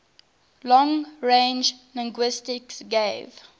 long range linguistics gave